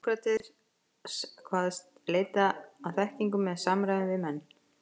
Sókrates kvaðst leita að þekkingu með samræðum við menn.